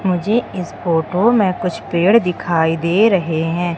मुझे इस फोटो कुछ पेड़ दिखाई दे रहे है।